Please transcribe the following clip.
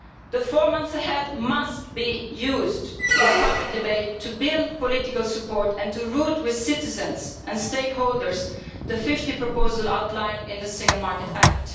The four months ahead must be used in the public debate to build political support and to develop with citizens and stakeholders the 50 proposal outline in the Single Market Act.